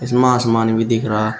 धीमा आसमान भी दिख रहा--